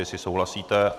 Jestli souhlasíte?